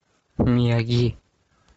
мияги